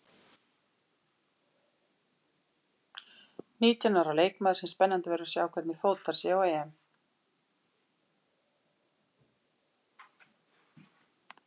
Nítján ára leikmaður sem spennandi verður að sjá hvernig fótar sig á EM.